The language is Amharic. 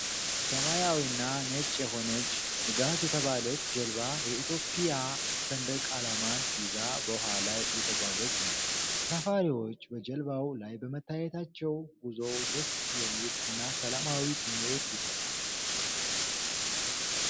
ሰማያዊና ነጭ የሆነችው "ንጋት" የተባለች ጀልባ የኢትዮጵያ ሰንደቅ ዓላማን ይዛ በውሃ ላይ እየተጓዘች ነው። ተሳፋሪዎች በጀልባው ላይ በመታየታቸው ጉዞው ደስ የሚል እና ሰላማዊ ስሜት ይሰጣል።